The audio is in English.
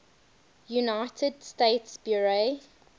united states bureau